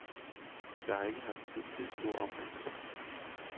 Jeg har ikke haft tid til en stor omgangskreds.